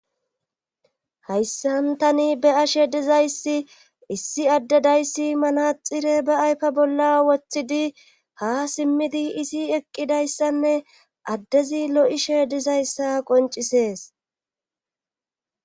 hayssantani be ashe dizayssi issi addedayssi manaxire ba aypa bolla woththidi ha simmidi isi eqqidayssanne addezi lo7ishe dizayssa qoncisees